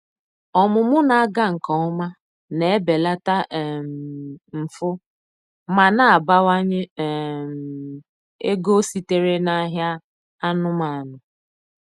Ọmụmụ na-aga nke ọma na-ebelata um mfu ma na-abawanye um ego sitere n'ahịa anụmanụ.